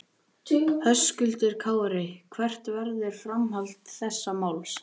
Höskuldur Kári: Hvert verður framhald þessa máls?